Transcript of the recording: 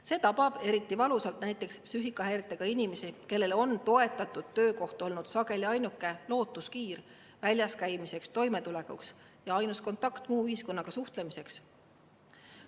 See tabab eriti valusalt psüühikahäiretega inimesi, kellel on toetatud töökoht olnud sageli ainuke lootuskiir väljas käimiseks ja toimetulekuks, see on nende ainus võimalus muu ühiskonnaga suhtlemiseks.